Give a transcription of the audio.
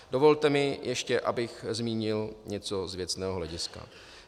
Dovolte mi ještě, abych zmínil něco z věcného hlediska.